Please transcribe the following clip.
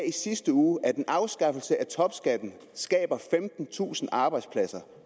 i sidste uge at en afskaffelse af topskatten skaber femtentusind arbejdspladser